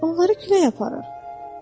Onları külək aparır.